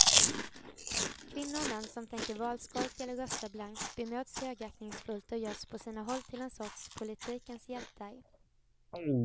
Kvinnor och män som tänker valskolka eller rösta blankt bemöts högaktningsfullt och görs på sina håll till en sorts politikens hjältar.